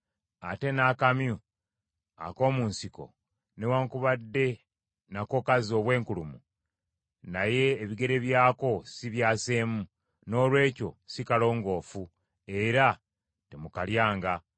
Ate n’akamyu ak’omu nsiko, newaakubadde nako kazza obwenkulumu naye ebigere byako si byaseemu, noolwekyo si kalongoofu, era temukalyanga.